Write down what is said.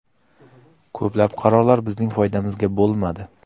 Ko‘plab qarorlar bizning foydamizga bo‘lmadi.